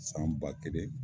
San ba kelen.